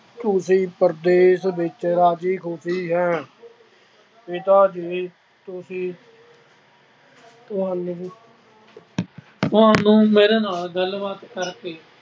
ਤੁਸੀਂ ਪ੍ਰਦੇਸ਼ ਵਿੱਚ ਰਾਜ਼ੀ ਖੁਸ਼ੀ ਹੋ. ਪਿਤਾ ਜੀ ਨੂੰ ਵੀ ਤੁਹਾਨੂੰ ਤੁਹਾਨੂੰ ਮੇਰੇ ਨਾਲ ਗੱਲਬਾਤ ਕਰਕੇ